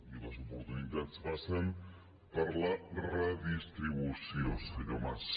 i les oportunitats passen per la redistribució senyor mas